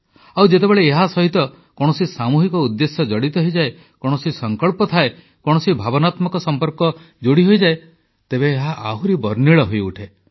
ଆଉ ଯେତେବେଳେ ଏହାସହିତ କୌଣସି ସାମୂହିକ ଉଦ୍ଦେଶ୍ୟ ଜଡ଼ିତ ହୋଇଯାଏ କୌଣସି ସଂକଳ୍ପ ଥାଏ କୌଣସି ଭାବନାତ୍ମକ ସମ୍ପର୍କ ଯୋଡ଼ି ହୋଇଯାଏ ତେବେ ଏହା ଆହୁରି ବର୍ଣ୍ଣିଳ ହୋଇଉଠେ